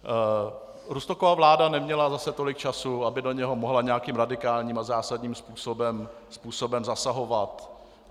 Rusnokova vláda neměla zase tolik času, aby do něj mohla nějakým radikálním a zásadním způsobem zasahovat.